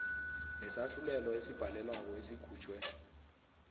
nesahlulelo esibhalelweko esikhutjhwe